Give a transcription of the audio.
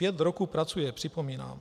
Pět roků pracuje, připomínám.